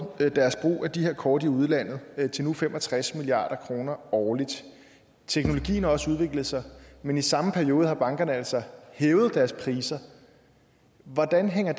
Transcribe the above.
deres brug af de her kort i udlandet til nu fem og tres milliard kroner årligt og teknologien har også udviklet sig men i samme periode har bankerne altså hævet deres priser hvordan hænger